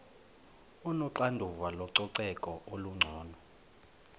onoxanduva lococeko olungcono